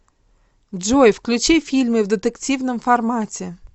джой включи фильмы в детективном формате